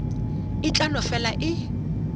e tla no fela e